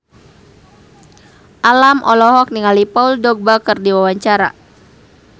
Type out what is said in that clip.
Alam olohok ningali Paul Dogba keur diwawancara